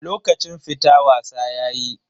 Lokacin fita wasa yayi.